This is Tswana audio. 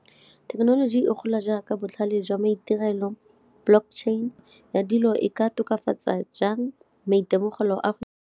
Thekenoloji e gola jaaka botlhale jwa maitirelo, Block chain ya dilo e ka tokafatsa jang maitemogelo a go?